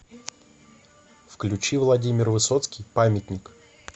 включи владимир высоцкий памятник